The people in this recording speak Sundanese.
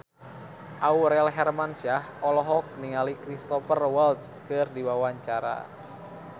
Aurel Hermansyah olohok ningali Cristhoper Waltz keur diwawancara